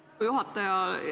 Lugupeetud juhataja!